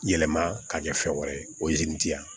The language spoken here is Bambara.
Yɛlɛma ka kɛ fɛn wɛrɛ ye o yezini di yan